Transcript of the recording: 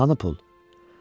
Hanı pul?